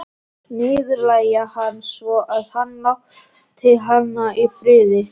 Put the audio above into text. Niðurlægja hann svo að hann láti hana í friði.